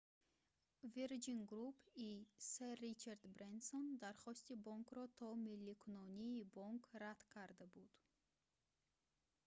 вирҷин груп»-и сэр ричард брэнсон дархости бонкро то милликунонии бонк рад карда буд